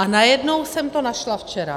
A najednou jsem to našla včera.